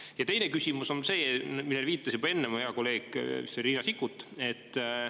Ja teine küsimus on see, millele viitas juba enne mu hea kolleeg Riina Sikkut.